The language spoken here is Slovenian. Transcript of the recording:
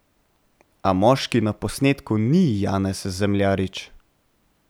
A moški na posnetku ni Janez Zemljarič.